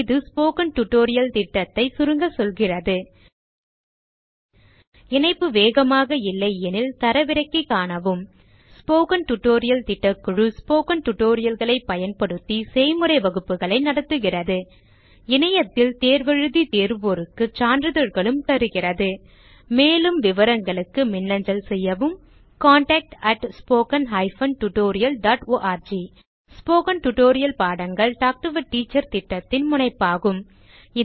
இது spoken tutorial திட்டத்தை சுருங்க சொல்கிறது இணைப்பு வேகமாக இல்லையெனில் தரவிறக்கி காணவும் ஸ்போக்கன் டியூட்டோரியல் திட்டக்குழு ஸ்போக்கன் tutorial களைப் பயன்படுத்தி செய்முறை வகுப்புகள் நடத்துகிறது இணையத்தில் தேர்வு எழுதி தேர்வோருக்கு சான்றிதழ்களும் அளிக்கிறது மேலும் விவரங்களுக்கு மின்னஞ்சல் செய்யவும் contactspoken tutorialorg ஸ்போகன் டுடோரியல் பாடங்கள் டாக் டு எ டீச்சர் திட்டத்தின் முனைப்பாகும்